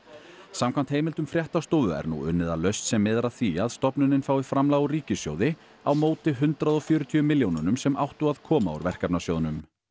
samkvæmt heimildum fréttastofu er nú unnið að lausn sem miðar að því að stofnunin fái framlag úr ríkissjóði á móti hundrað og fjörutíu milljónunum sem áttu að koma úr verkefnasjóðnum